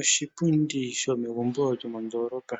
Oshipundi sho megumbo lyo mondolopa.